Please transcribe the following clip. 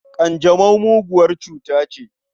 Ƙanjamau muguwar cuta ce.